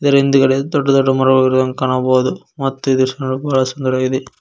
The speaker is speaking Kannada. ಇದರ ಹಿಂದೆಗಡೆ ದೊಡ್ಡ ದೊಡ್ಡ ಮರ ಇರುವುದನ್ನು ಕಾಣಬಹುದು ಮತ್ತು ಈ ದೃಶ್ಯ ನೋಡಲು ಬಹಳ ಸುಂದರವಾಗಿದೆ.